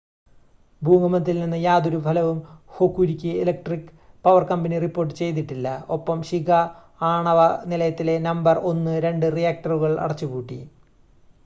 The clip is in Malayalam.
ഭൂകമ്പത്തിൽ നിന്ന് യാതൊരു ഫലവും Hokuriku electric power company report ചെയ്തിട്ടില്ല ഒപ്പം ശിക ആണവ നിലയത്തിലെ നമ്പർ 1 2 റിയാക്ടറുകൾ അടച്ചുപൂട്ടി